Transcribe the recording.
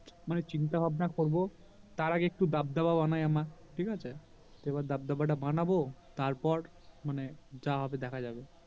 মানে চিন্তা ভাবনা করবো তার আগে একটু দাব দাবা বানায় আমার ঠিক আছে তো এবার দাব দাবা তা বানাবো তারপর মানে যা হবে দেখা যাবে